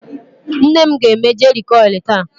Nnem ga-eme jeri kọilụ taa.